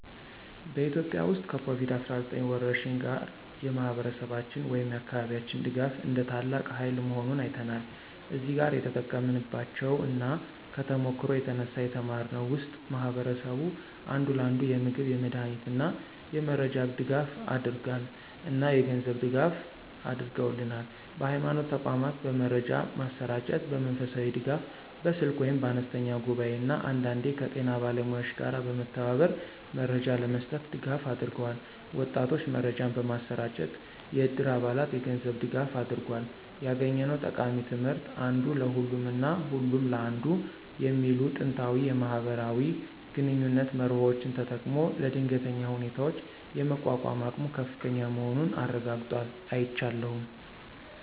በኢትዮጵያ ውስጥ ከኮቪድ-19 ወረርሽኝ ጋር፣ የማህበረሰባችን ወይም የአካባቢያችን ድጋፍ እንደ ታላቅ ሃይል መሆኑን አይተናል። እዚህ ጋር የተጠቀምንባቸው እና ከተሞክሮው የተነሳ የተማርነው ውስጥ ማህበረሰቡ አንዱ ለአንዱ የምግብ፣ የመድሃኒት እና የመረጃ ድጋፍ አደረገል እና የገንዝብ ድጋፍ አድርገውልናል። በሀይማኖት ተቋማት በመረጃ ማሰራጨት፣ በመንፈሳዊ ድጋፍ (በስልክ ወይም በአነስተኛ ጉባኤ) እና አንዳንዴ ከጤና ባለሙያዎች ጋር በመተባበር መረጃ ለመስጠት ድጋፍ አድርገዋል። ወጣቶች መረጃን በማሰራጨት፣ የዕድር አባላት የገንዝብ ድጋፋ አድርጎል። ያገኘነው ጠቃሚ ትምህርት (አንዱ ለሁሉም እና ሁሉም ለአንዱ) የሚሉ ጥንታዊ የማህበራዊ ግንኙነት መርሆዎችን ተጠቅሞ ለድንገተኛ ሁኔታዎች የመቋቋም አቅሙ ከፍተኛ መሆኑን አረጋግጧል። አይቻለሁም።